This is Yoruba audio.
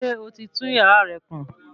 Ṣé o ti tún yàrá rẹ kùn?